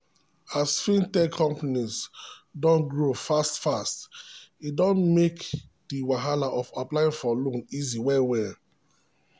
as fintech companies don grow fast-fast e don make the wahala of applying for loan easy well-well.